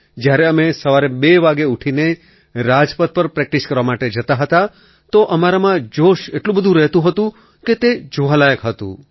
જ્યારે અમે સવારે બે વાગે ઊઠીને રાજપથ પર પ્રૅક્ટિસ કરવા જતા હતા તો અમારામાં જોશ એટલું બધું રહેતું હતું કે તે જોવા લાયક હતું